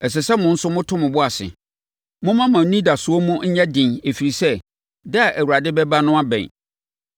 Ɛsɛ sɛ mo nso moto mo bo ase. Momma mo anidasoɔ mu nyɛ den ɛfiri sɛ, da a Awurade bɛba no abɛn.